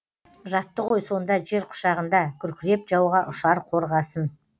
жатты ғой сонда жер құшағында күркіреп жауға ұшар қорғасын